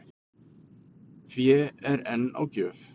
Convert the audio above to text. Fé er enn á gjöf